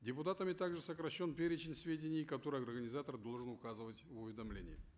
депутатами также сокращен перечень сведений которые организатор должен указывать в уведомлении